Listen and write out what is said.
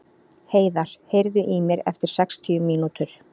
Heiðar, heyrðu í mér eftir sextíu mínútur.